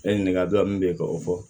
E ɲininkali dɔ min bɛ yen k'o fɔ